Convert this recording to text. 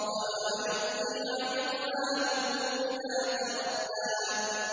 وَمَا يُغْنِي عَنْهُ مَالُهُ إِذَا تَرَدَّىٰ